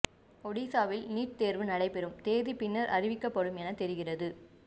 ஒடிஷாவில் நீட் தேர்வு நடைபெறும் தேதி பின்னர் அறிவிக்கப்படும் என தெரிகிறது